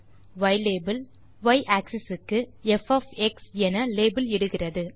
யிலாபெல் y Axis க்கு ப் என லேபல் இடுகிறது